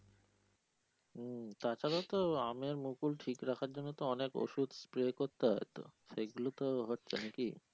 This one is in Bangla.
হম তাছাড়া তো আমের মুকুল ঠিক রাখার জন্য তো অনেক ওষুধ spray করতে হয় তো সেগুলো তো হচ্ছে নাকি?